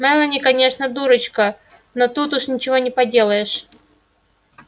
мелани конечно дурочка но тут уж ничего не поделаешь